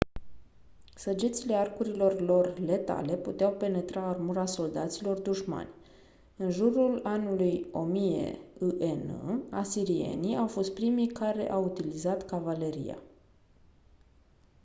săgețile arcurilor lor letale puteau penetra armura soldaților dușmani în jurul anului 1000 î.e.n. asirienii au fost primii care au utilizat cavaleria